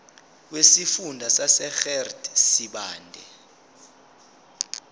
wesifunda sasegert sibande